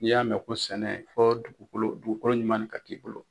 N'i y'a mɛn ko sɛnɛ fɔ dugukolo dugukolo ɲuman ne ka k'i bolo.